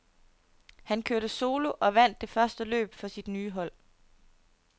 Han kørte solo og vandt det første løb for sit nye hold.